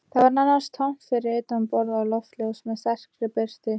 Það var nánast tómt fyrir utan borð og loftljós með sterkri birtu